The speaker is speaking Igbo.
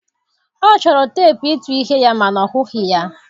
Ọ chọrọ teepụ ịtụ ihe ya ma na ọ hụghị ya.